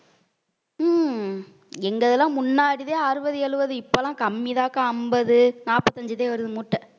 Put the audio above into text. உம் எங்க இதெல்லாம் முன்னாடிதான் அறுவது எழுவது இப்பல்லாம் கம்மிதா அக்கா ஐம்பது நாற்பந்தைந்து தான் வருது முட்டை